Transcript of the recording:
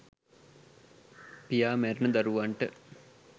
පියා මැරුණ දරුවන්ට